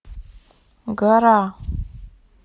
гора